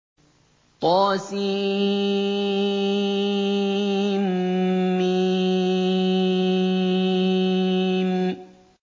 طسم